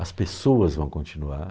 As pessoas vão continuar.